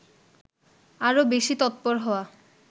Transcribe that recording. আরও বেশি তৎপর হওয়া